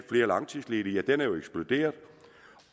flere langtidsledige det tal er jo eksploderet